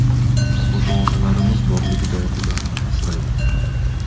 Ota-onalarimiz borligida ularni asraylik!